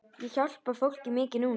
Ég hjálpa fólki mikið núna.